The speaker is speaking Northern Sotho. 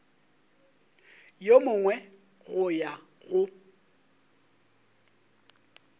yo mongwe go ya go